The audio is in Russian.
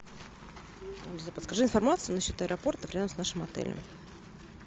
подскажи информацию на счет аэропорта рядом с нашим отелем